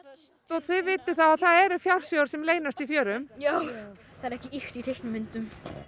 þið vitið þá að það eru fjársjóðir sem leynast í fjörum já það er ekki ýkt í teiknimyndum